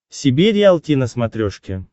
себе риалти на смотрешке